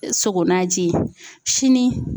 sogo naji ye sini